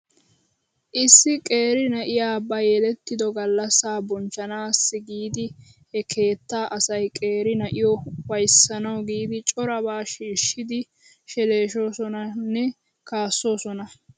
Issi qeeri na'iyaa ba yelettido gallasaa bonchchanaassi giidi he keettaa asay qeeri na'iyoo ufayssanaw giidi corabaa shiishshidi sheleshoosonanne kassoosona .